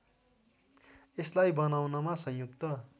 यसलाई बनाउनमा संयुक्त